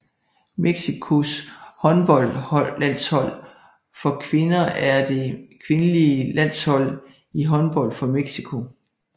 Mexicos håndboldlandshold for kvinder er det kvindelige landshold i håndbold for Mexico